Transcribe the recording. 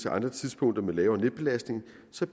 andre tidspunkter med lavere af netbelastning